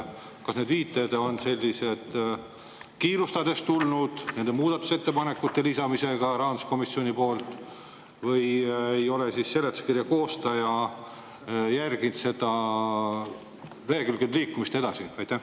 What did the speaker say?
Kas need viited on kiirustades tulnud muudatusettepanekute lisamisega rahanduskomisjoni poolt või ei ole seletuskirja koostaja arvestanud lehekülgede edasiliikumist?